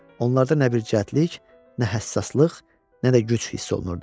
Onlarda nə bir zəriflik, nə həssaslıq, nə də güc hiss olunurdu.